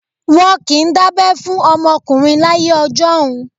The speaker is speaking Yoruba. Wọ́n kì í dábẹ́ fún ọmọkùnrin láyé ọjọ́un.